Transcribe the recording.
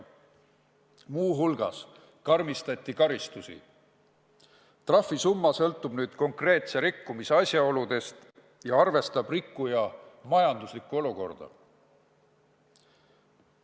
Muu hulgas karmistati karistusi, trahvisumma sõltub nüüd konkreetse rikkumise asjaoludest ja arvestab rikkuja majanduslikku olukorda.